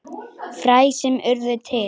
Fræ sem urðu til.